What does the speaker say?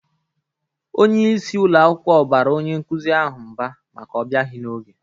Onye isi ụlọ akwụkwọ bara onye nkuzi ahụ mba maka ọ bịaghi n'oge.